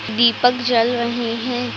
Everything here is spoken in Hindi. दीपक जल रहे हैं।